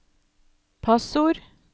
passord